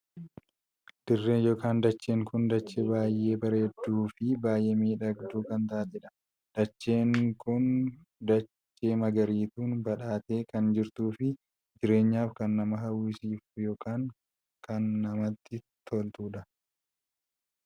Dirreen ykn dachee kun dachee baay'ee bareedduu fi baay'ee miidhagduu kan taateedha. dacheen kun dacheen kun dachee dachee magariituun badhaatee kan jirtuu fi jireenyaf kan nama hawwisiiftu ykn kan namatti toltudha.